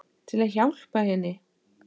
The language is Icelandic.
Til að hjálpa henni.